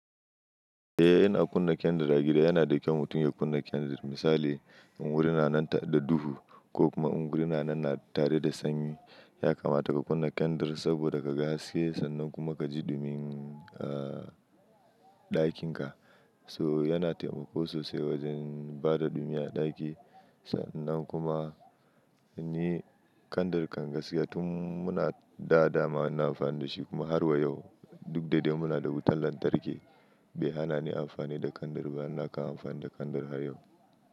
Eh, ina kunna kyandir a gida yana da kyau mutum ya kunna kyandir. Misali in wuri na nan da duhu ko kuma in wuri na nan tare da sanyi ya kamata ka kunna kyandir saboda ka ga haske. Sannan kuma ka ji dumin, aa, ɗakinka. So yana taimako sosai wajen bada dumi a ɗaki. Sannan kuma ni kyandir kan gaskiya tun muna dada ma ina amfani da shi kuma har wa yau duk da dai muna da wutar lantarki bai hana ni amfani da kyandir ba. Ina kan amfani da kyandir har yau.